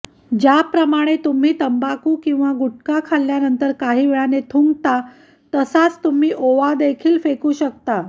ज्याप्रकारे तुम्ही तंबाखू किंवा गुटखा खाल्ल्यानंतर काहीवेळाने थुंकता तसाच तुम्ही ओवा देखील फेकू शकता